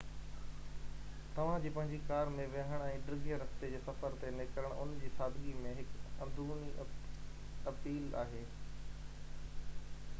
توهان جي پنهنجي ڪار ۾ ويهڻ ۽ ڊگهي رستي جي سفر تي نڪرڻ ان جي سادگي ۾ هڪ اندروني اپيل آهي